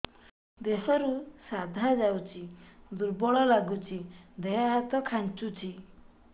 ଦେହରୁ ସାଧା ଯାଉଚି ଦୁର୍ବଳ ଲାଗୁଚି ଦେହ ହାତ ଖାନ୍ଚୁଚି